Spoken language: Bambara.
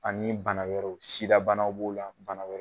Ani bana wɛrɛw. Sida banaw b'o la bana wɛrɛ